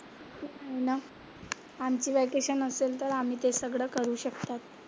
तेच आहे ना, आमची वेकेशन असेल तर आम्ही ते सगळं करू शकतात.